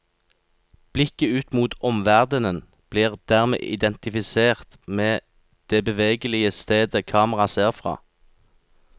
Blikket ut mot omverdenen blir dermed identifisert med det bevegelige stedet kamera ser fra.